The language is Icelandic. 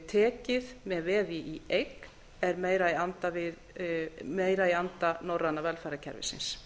tekið með veði í eign er meira í anda norræna velferðarkerfisins